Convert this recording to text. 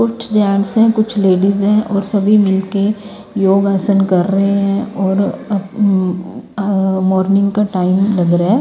कुछ जेंट्स है कुछ लेडीज है और सभी मिलके योग आसन कर रहे हैं औरअ उम्अमॉर्निंग का टाइम लग रहा है।